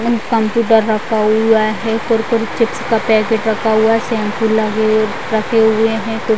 Computer रखा हुआ है। कुरकुरे चिप्स का पैकेट रखा हुआ है। शैम्पूल लगे रखे हुए हैं।